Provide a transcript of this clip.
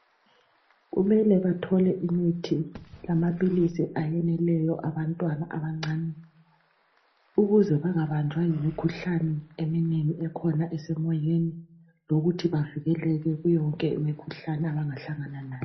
kumele bathole imithi lamaphilisi ayaneleyo abantwana abancane ukuze bangabanjwa yimikhuhlane eminengi ekhona esemoyeni lokuthi bavikeleke kuyo yonke imikhuhlane abangahlangana layo